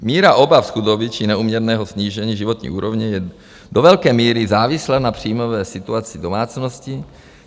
Míra obav z chudoby či neúměrného snížení životní úrovně je do velké míry závislá na příjmové situaci domácností.